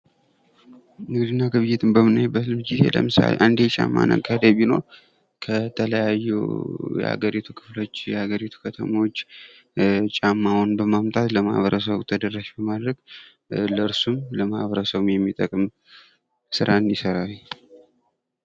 ንግድና ግብይት በምናይበት ጊዜ ለምሳሌ አንድ የጫማ ነጋዴ ቢኖር ከተለያዩ የአገሪቱ ክፍሎች የአገሪቱ ከተሞች ጫማውን በማምጣት ለማበረሰቡ ተደራሽ በማድረግ ለእርሱም ለማበረሰቡም ስራን ይሰራል።